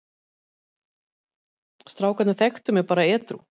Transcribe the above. Strákarnir þekktu mig bara edrú.